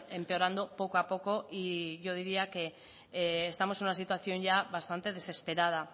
empeorando poco a poco y yo diría que estamos en una situación ya bastante desesperada